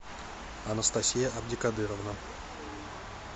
анастасия абдикадыровна